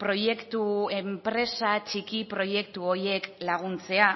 proiektu enpresa txiki proiektu horiek laguntzea